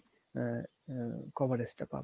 আ~ আ~ coverage টা পাবে